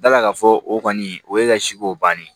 Dala ka fɔ o kɔni o ye ka si ko bannen ye